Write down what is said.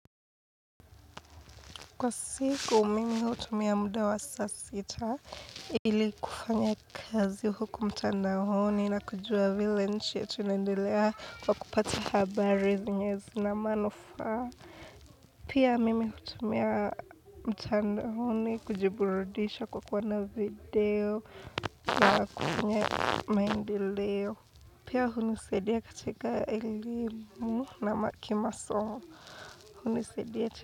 Kwa siku mimi hutumia muda wa sasita ili kufanya kazi huku mtandaoni na kujua vile nchi yetu inaendelea kwa kupata habari zinye zina manufaa. Pia mimi hutumia mtandaoni kujiburudisha kwa kuona video na kufanya maendeleo. Pia hunisaidia katika elimu na ma kimasomo hunisaidia.